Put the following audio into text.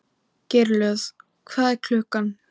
Geirlöð, hvað er klukkan?